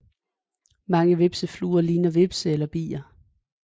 Mange hvepsefluer ligner hvepse eller bier